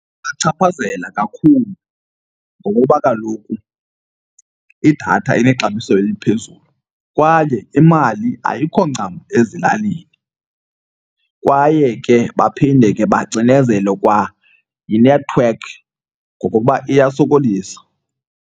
Ibachaphazela kakhulu ngokuba kaloku idatha inexabiso eliphezulu kwaye imali ayikho ncam ezilalini. Kwaye ke baphinde ke bacinezelwe kwa yinethiwekhi ngokokuba iyasokolisa.